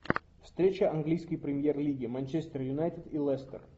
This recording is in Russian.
встреча английской премьер лиги манчестер юнайтед и лестер